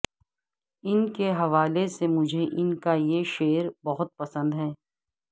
ان کے حو ا لے سے مجھے ان کا یہ شعر بہت پسند ہے